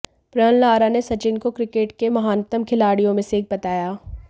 Brian Lara ने सचिन को cricket के महानतम खिलाड़ियों में से एक बताया